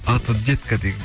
аты детка деген